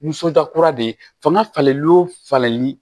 Nisɔndiya kura de ye fanga falen o falenli